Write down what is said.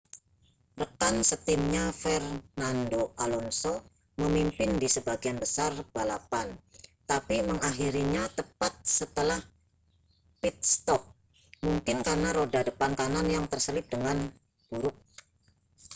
rekan setimnya fernando alonso memimpin di sebagian besar balapan tapi mengakhirinya tepat setelah pit-stop mungkin karena roda depan kanan yang terselip dengan buruk